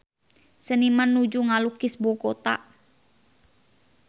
Seniman nuju ngalukis Bogota